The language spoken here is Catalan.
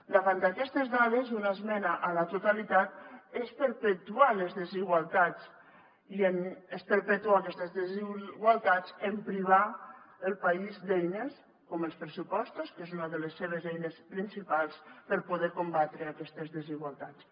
davant d’aquestes dades una esmena a la totalitat és perpetuar les desigualtats i és perpetuar aquestes desigualtats en privar el país d’eines com els pressupostos que és una de les seves eines principals per poder combatre aquestes desigualtats